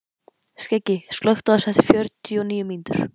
Skeggi, slökktu á þessu eftir fjörutíu og níu mínútur.